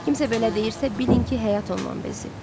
Kimsə belə deyirsə, bilin ki, həyat ondan bezib.